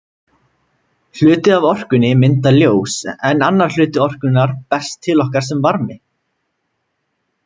Hluti af orkunni myndar ljós en annar hluti orkunnar berst til okkar sem varmi.